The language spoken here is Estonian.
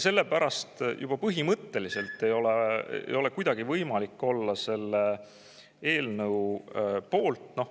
Sellepärast ei ole juba põhimõtteliselt mitte kuidagi võimalik olla selle eelnõu poolt.